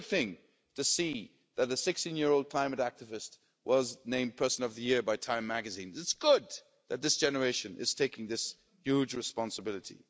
It's a good thing to see that the 16 year old climate activist was named Person of the Year by Time magazine. It's good that this generation is taking this huge responsibility.